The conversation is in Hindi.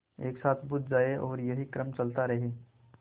एक साथ बुझ जाएँ और यही क्रम चलता रहे